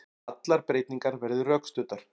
Allar breytingar verði rökstuddar